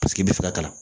Paseke i bɛ fɛ ka kalan